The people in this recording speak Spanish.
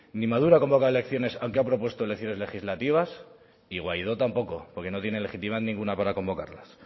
ni maduro ha convocado elecciones aunque ha propuesto elecciones legislativas y guaidó tampoco porque no tiene legitimidad ninguna para convocarlas